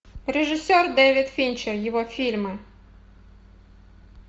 режиссер дэвид финчер его фильмы